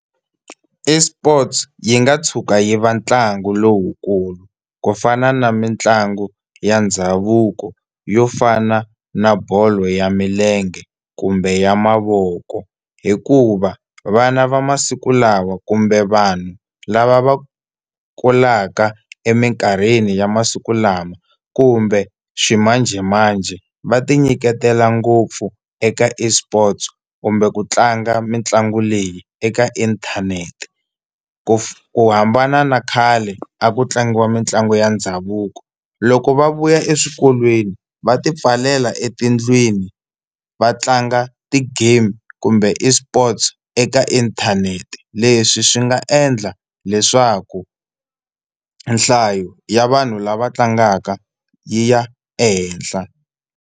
ESports yi nga tshuka yi va ntlangu lowukulu ku fana na mitlangu ya ndhavuko yo fana na bolo ya milenge kumbe ya mavoko, hikuva vana va masiku lawa kumbe vanhu lava va kulaka eminkarhini ya masiku lama kumbe ximanjhemanjhe va tinyiketela ngopfu eka eSports kumbe ku tlanga mitlangu leyi eka inthanete. Ku hambana na khale a ku tlangiwa mitlangu ya ndhavuko. Loko va vuya eswikolweni va tipfalela etindlwini va tlanga ti-game kumbe eSports eka inthanete leswi swi nga endla leswaku nhlayo ya vanhu lava tlangaka yi ya ehenhla.